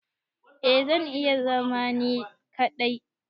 Eh zan iya zama ni kadai.